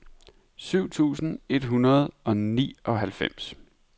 syv tusind et hundrede og nioghalvfems